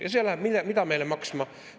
Ja see läheb meile mida maksma?